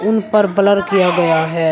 इन पर ब्लर किया गया है।